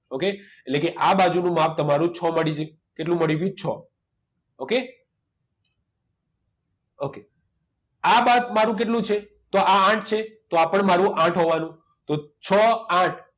Okay એટલે કે આ બાજુ નું માપ તમારું છ મળી ગયું કેટલું મળી ગયું છ okay okay આ માપ મારું કેટલું છે તો આ આઠ છે તો આ પણ મારું આઠ હોવાનું તો છ આઠ